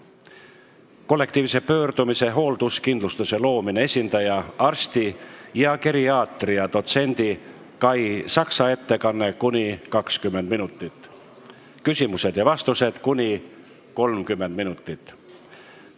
Kollektiivse pöördumise "Hoolduskindlustuse loomine" esindaja, arsti ja geriaatria dotsendi Kai Saksa ettekanne, ms kestab kuni 20 minutit, küsimused ja vastused talle kestavad kuni 30 minutit.